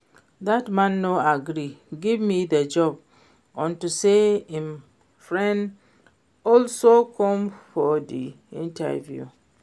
Dat man no agree give me the job unto say im friend also come for the interview